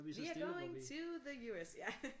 We are going to the US ja